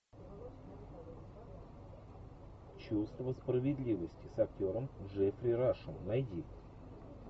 чувство справедливости с актером джеффри рашем найди